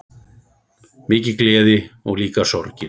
Mikil gleði og líka sorgir.